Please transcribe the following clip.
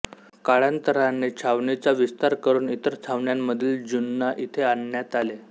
काळांतराने छावणीचा विस्तार करून इतर छावण्यांमधील ज्यूंना इथे आणण्यात आले